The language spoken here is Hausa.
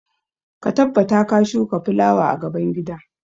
Ka tabbata ka shuka fulawa a gaban gida!